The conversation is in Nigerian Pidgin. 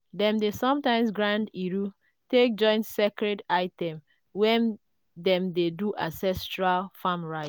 dem dey sometimes grind iru take join sacred items when dem dey do ancestral farm rite.